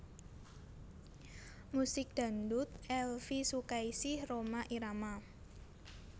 Musik Dangdut Elvie Sukaesih Rhoma Irama